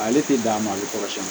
Ale tɛ dan ma a bɛ kɔrɔsiyɛn